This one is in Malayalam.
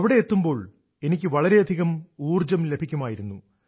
അവിടെയെത്തുമ്പോൾ എനിക്ക് വളരെയധികം ഊർജം ലഭിക്കുമായിരുന്നു